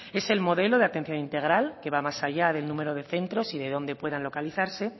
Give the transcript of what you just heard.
es el modelo de atención integral que va más allá del número de centros y dónde puedan localizarse